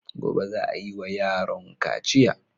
Gobe za a yiwa yaron kaciya.